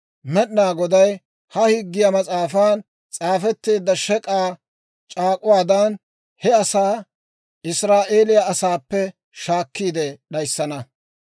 Med'inaa Goday ha Higgiyaa Mas'aafan s'aafetteedda shek'k'aa c'aak'uwaadan he asaa Israa'eeliyaa asaappe shaakkiide d'ayissana.